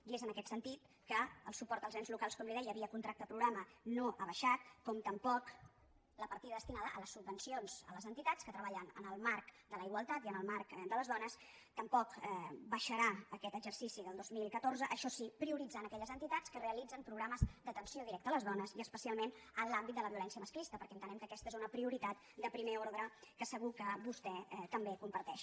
i és en aquest sentit que el suport als ens locals com li deia via contracte programa no ha baixat com tampoc la partida destinada a les subvencions a les entitats que treballen en el marc de la igualtat i en el marc de les dones no baixarà aquest exercici del dos mil catorze això sí prioritzant aquelles entitats que realitzen programes d’atenció directa a les dones i especialment en l’àmbit de la violència masclista perquè entenem que aquesta és una prioritat de primer ordre que segur que vostè també comparteix